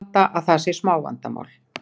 Halda að það sé smávandamál.